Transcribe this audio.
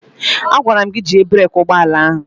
A gwara m gị jie breeki ụgbọala ahụ!